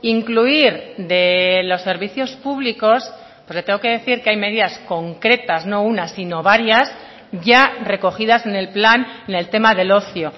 incluir de los servicios públicos le tengo que decir que hay medidas concretas no una sino varias ya recogidas en el plan en el tema del ocio